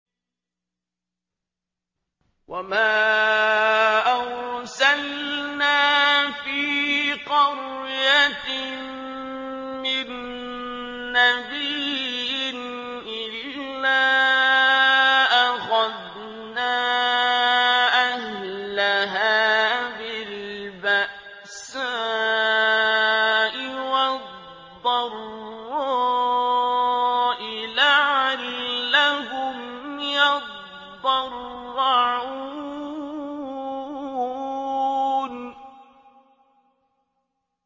وَمَا أَرْسَلْنَا فِي قَرْيَةٍ مِّن نَّبِيٍّ إِلَّا أَخَذْنَا أَهْلَهَا بِالْبَأْسَاءِ وَالضَّرَّاءِ لَعَلَّهُمْ يَضَّرَّعُونَ